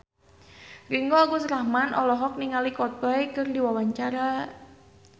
Ringgo Agus Rahman olohok ningali Coldplay keur diwawancara